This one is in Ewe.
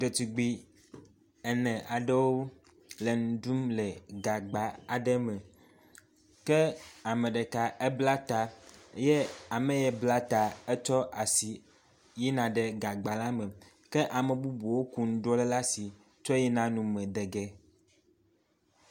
Ɖetugbui ene aɖewo le nuɖum le gagba aɖe me ke ameɖeka ebla ta ke ameye bla y etsɔ asi yina ɖe gagba la me ke amebubuwo ku nuɖuɖuɔ le ɖa asi kɔ yina nume de ge.